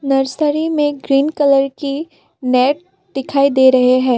Nursery में green colour की net दिखाई दे रहे हैं।